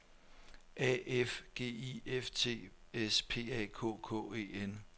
A F G I F T S P A K K E N